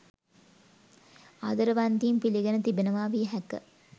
ආදරවන්තයින් පිළිගෙන තිබෙනවා විය හැක.